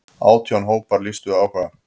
Átján hópar lýstu áhuga.